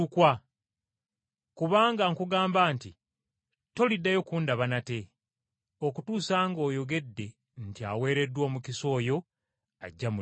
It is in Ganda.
Kubanga nkugamba nti toliddayo kundaba nate, okutuusa ng’oyogedde nti, ‘Aweereddwa omukisa oyo ajja mu linnya lya Mukama.’ ”